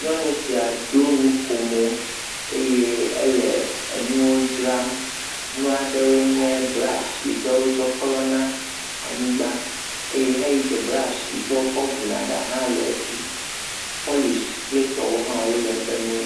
Nyɔnu sia do enukomo eye ele enuwo dzram, nua ɖewo nye brashi yi ke wokɔ klɔna anyigba eye heyi ke brashi yi ke wokɔ vuna ɖa hã le esi. Pɔlishi kple etɔwo hã le eƒe nuwo me.